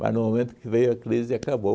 Mas no momento que veio a crise, acabou.